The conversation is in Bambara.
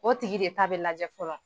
O tigi de ta bɛ lajɛ fɔlɔ